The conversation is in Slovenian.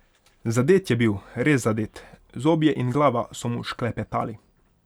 Zadet je bil, res zadet, zobje in glava so mu šklepetali.